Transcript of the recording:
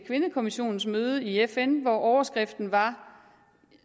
kvindekommissionens møde i fn hvor overskriften